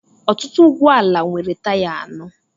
ọtụtụ ụgbọ ala nwere taya anọ